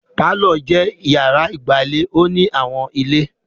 Pálọ̀ jẹ́ ìyàrá ìgbàlè ò ní àwọn ilé.